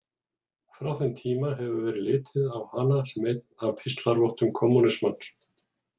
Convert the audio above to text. Frá þeim tíma hefur verið litið á hana sem einn af píslarvottum kommúnismans.